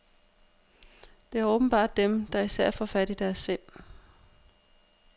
Det er åbenbart dem, der især får fat i deres sind.